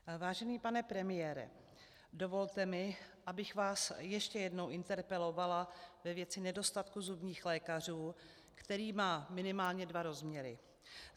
Vážený pane premiére, dovolte mi, abych vás ještě jednou interpelovala ve věci nedostatku zubních lékařů, který má minimálně dva rozměry.